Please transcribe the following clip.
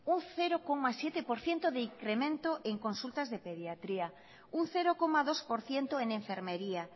un cero coma siete por ciento de incremento en consultas de pediatría un cero coma dos por ciento en enfermería